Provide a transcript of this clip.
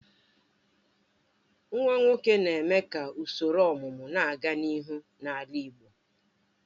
Nwa nwoke na-eme ka usoro ọmụmụ na-aga n'ihu n'ala igbo.